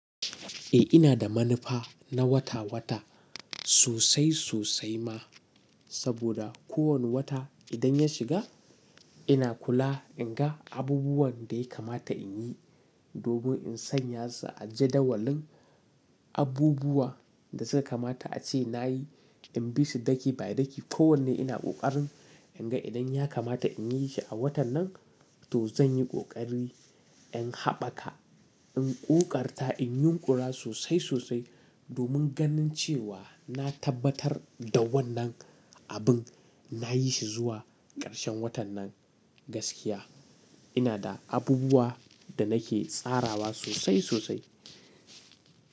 Eh ina da manufa na wata-wata sosai sosai ma, saboda kowanne wata idan ya shiga ina kula in ga abubuwan da ya kamata in yi, domin in sanya su a jadawalin abubuwa da suka kamata a ce na yi, in bi su daki by daki. Ko wanne ina ƙoƙarin in ga idan ya kamata in yi shi a watan nan to zan yi ƙoƙari in haɓaka, in ƙoƙarta, in yunƙura sosai sosai domin ganin cewa na tabbatar da wannan abin na yi shi zuwa ƙarshen watan nan gaskiya. Ina da abubuwa da nake tsarawa sosai sosai.